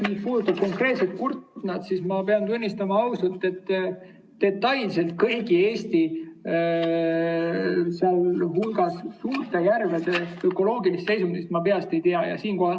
Mis puudutab konkreetselt Kurtnat, siis pean ausalt tunnistama, et detailselt kõigi Eesti järvede, sealhulgas suurte järvede ökoloogilist seisundit ma peast ei tea.